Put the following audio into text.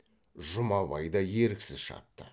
жұмабай да еріксіз шапты